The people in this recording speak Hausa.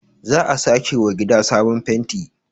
za a sake wa gida sabon fenti